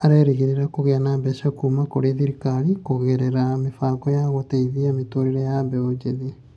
Arerĩgagĩrĩra kũgĩa na mbeca kuuma kũrĩ thirikari kũgerera mĩbango ya gũteithia mĩtũrĩre ya mbeũ njĩthĩ.